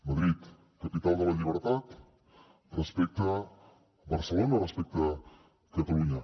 madrid capital de la llibertat respecte a barcelona respecte a catalunya